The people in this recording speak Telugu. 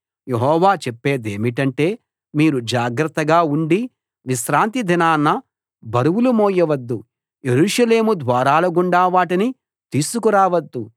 యెహోవా చెప్పేదేమిటంటే మీరు జాగ్రత్తగా ఉండి విశ్రాంతి దినాన బరువులు మోయవద్దు యెరూషలేము ద్వారాలగుండా వాటిని తీసుకు రావద్దు